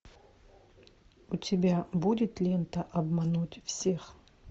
у тебя будет лента обмануть всех